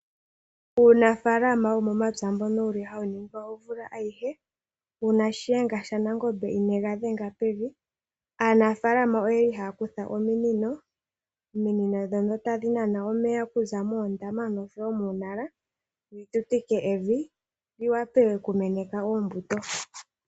Uunafalama womomapya mbono wuli hawu ningwa omvula ayihe , uuna shenga shanangombe inega dhenga pevi. Aanafalama oyali haya kutha ominino, ominino ndhono tadhi nana omeya kuza moondama nomomatale yi tutike evi yi wape oku meneka oombuto.